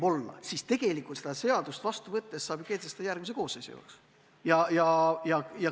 Aga seda seadust vastu võttes saab ju kehtestada palga järgmise koosseisu jaoks.